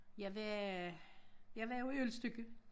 Jeg var øh jeg var jo i Ølstykke